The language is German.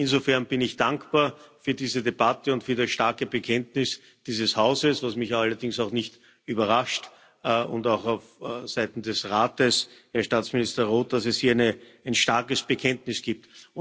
Insofern bin ich dankbar für diese Debatte und für das starke Bekenntnis dieses Hauses, was mich allerdings auch nicht überrascht, und auch dafür, dass es auf Seiten des Rates, Herr Staatsminister Roth, hier ein starkes Bekenntnis gibt.